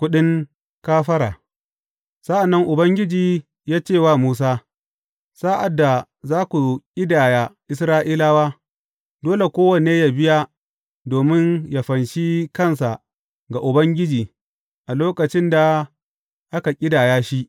Kuɗin kafara Sa’an nan Ubangiji ya ce wa Musa, Sa’ad da za ku ƙidaya Isra’ilawa, dole kowanne yă biya domin yă fanshe kansa ga Ubangiji a lokacin da aka ƙidaya shi.